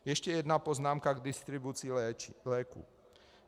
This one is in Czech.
Ještě jedna poznámka k distribuci léků.